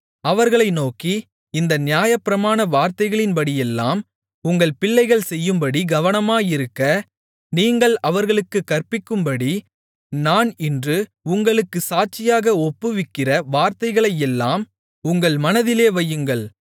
அவர்களை நோக்கி இந்த நியாயப்பிரமாண வார்த்தைகளின்படியெல்லாம் உங்கள் பிள்ளைகள் செய்யும்படி கவனமாயிருக்க நீங்கள் அவர்களுக்குக் கற்பிக்கும்படி நான் இன்று உங்களுக்குச் சாட்சியாக ஒப்புவிக்கிற வார்த்தைகளையெல்லாம் உங்கள் மனதிலே வையுங்கள்